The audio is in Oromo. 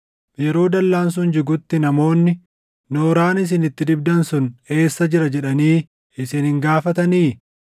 Yeroo dallaan sun jigutti namoonni, “Nooraan isin itti dibdan sun eessa jira” jedhanii isin hin gaafatanii?